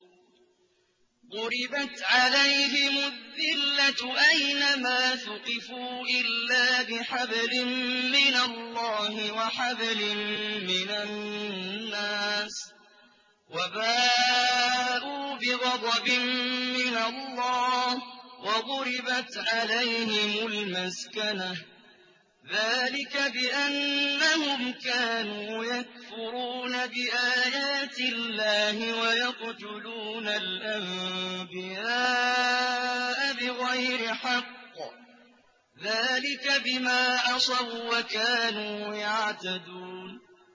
ضُرِبَتْ عَلَيْهِمُ الذِّلَّةُ أَيْنَ مَا ثُقِفُوا إِلَّا بِحَبْلٍ مِّنَ اللَّهِ وَحَبْلٍ مِّنَ النَّاسِ وَبَاءُوا بِغَضَبٍ مِّنَ اللَّهِ وَضُرِبَتْ عَلَيْهِمُ الْمَسْكَنَةُ ۚ ذَٰلِكَ بِأَنَّهُمْ كَانُوا يَكْفُرُونَ بِآيَاتِ اللَّهِ وَيَقْتُلُونَ الْأَنبِيَاءَ بِغَيْرِ حَقٍّ ۚ ذَٰلِكَ بِمَا عَصَوا وَّكَانُوا يَعْتَدُونَ